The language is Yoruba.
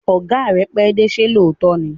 Ọ̀gá rẹ pẹ́dé, ṣé lóòótọ́ ni?